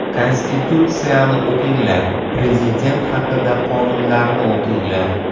Konstitutsiyani o‘qinglar, prezident haqida qonunlarni o‘qinglar.